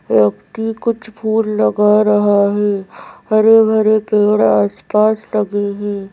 व्यक्ति कुछ फूल लगा रहा है हरे भरे पेड़ आसपास लगे हैं।